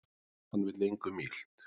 Hann vill engum illt